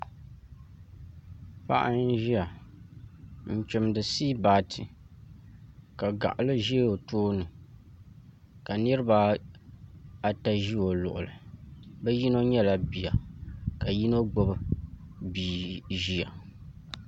Paɣa n ʒiya n chimdi siibaati ka gaɣali ʒɛ o tooni ka niranaata ʒi o luɣuli bi yino nyɛla bia ka yino gbubi bia ʒiya